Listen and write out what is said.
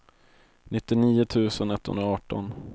nittionio tusen etthundraarton